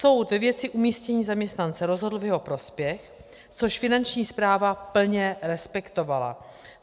Soud ve věci umístění zaměstnance rozhodl v jeho prospěch, což Finanční správa plně respektovala.